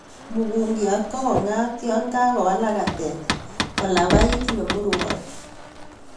Mukunkiat ko kong'at yon kawalak katet kolabait nemwurown